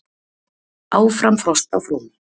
Áfram frost á fróni